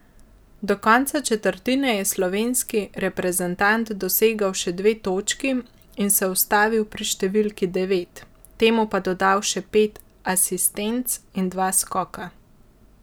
Do konca četrtine je slovenski reprezentant dosegel še dve točki in se ustavil pri številki devet, temu pa dodal še pet asistenc in dva skoka.